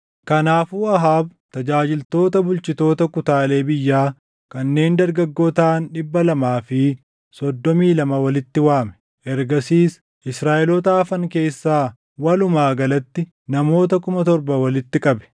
Kanaafuu Ahaab tajaajiltoota bulchitoota kutaalee biyyaa kanneen dargaggoo taʼan dhibba lamaa fi soddomii lama walitti waame. Ergasiis Israaʼeloota hafan keessaa walumaa galatti namoota kuma torba walitti qabe.